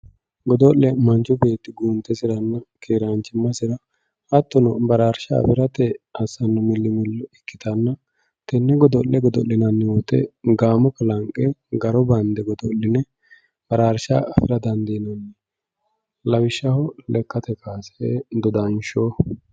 godo'le manchu beetti guuntesirranna keeranchimasira hattono baraarsha afirate assanno milimillo ikkitanna tenne godo'le gada'linanni wooyiite gaamo kalanqe garo bandde godo'line baraarsha afira dandiinanni lawishshaho lekkate kaase, dodanshsho.